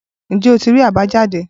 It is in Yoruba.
Ǹjẹ́ o tí rí àbájáde?